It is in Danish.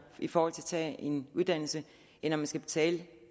i forhold til at en uddannelse end at man skal betale